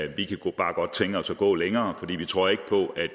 vi kunne bare godt tænke os at gå længere for vi tror ikke på at